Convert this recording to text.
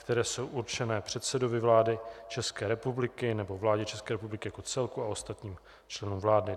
které jsou určené předsedovi vlády České republiky nebo vládě České republiky jako celku a ostatním členům vlády.